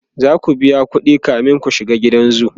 zaku biya ƙuɗi kamin ku shiga gidan zoo